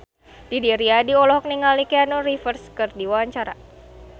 Didi Riyadi olohok ningali Keanu Reeves keur diwawancara